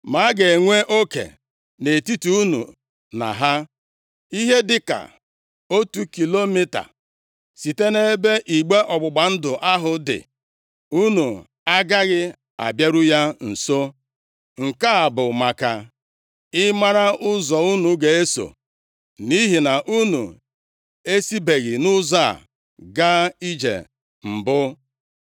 Ma a ga-enwe oke nʼetiti unu na ha, ihe dịka otu kilomita site nʼebe igbe ọgbụgba ndụ ahụ dị. Unu agaghị abịaru ya nso. Nke a bụ maka ị mara ụzọ unu ga-eso, nʼihi na unu esibeghị nʼụzọ a gaa ije mbụ.”